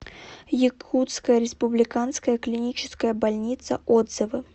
якутская республиканская клиническая больница отзывы